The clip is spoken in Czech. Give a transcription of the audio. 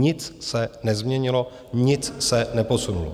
Nic se nezměnilo, nic se neposunulo.